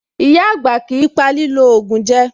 Ìyá-àgbà kìí pa lílò ògùn jẹ.